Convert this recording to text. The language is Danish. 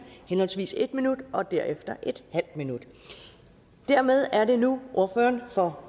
henholdsvis en minut og derefter en halv minut dermed er det nu ordføreren for